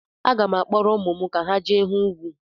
Aga m akpọrọ ụmụ m ka ha je hụ ugwu.